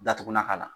Datugulan k'a la